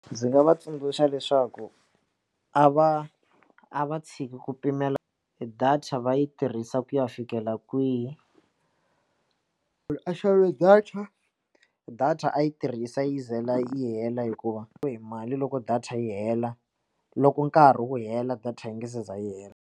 Ndzi nga va tsundzuxa leswaku a va a va tshiki ku pimela data va yi tirhisa ku ya fikela kwihi a xava data data a yi tirhisa yi ze yi hela hikuva ka mali loko data yi hela loko nkarhi wu hela data yi nga za yi hela.